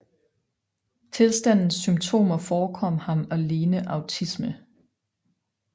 Tilstandens symptomer forekom ham at ligne autisme